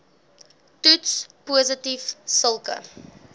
toets positief sulke